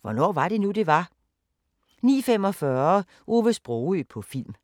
Hvornår var det nu, det var? * 09:15: Hvornår var det nu, det var? * 09:45: Ove Sprogøe på film